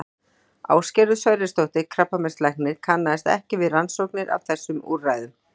Ásgerður Sverrisdóttir krabbameinslæknir kannaðist ekki við rannsóknir á þessum úrræðum.